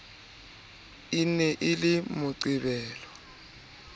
e ne e le moqebelo